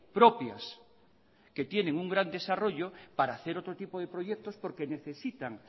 propias que tienen un gran desarrollo para hacer otro tipo de proyectos porque necesitan